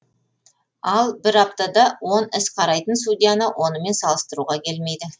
ал бір аптада он іс қарайтын судьяны онымен салыстыруға келмейді